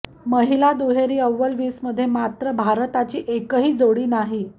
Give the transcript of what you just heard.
महिला दुहेरीच्या अव्वल वीसमध्ये मात्र भारताची एकही जोडी नाही